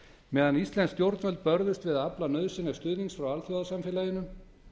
meðan íslensk stjórnvöld börðust við að afla nauðsynlegs stuðnings frá alþjóðasamfélaginu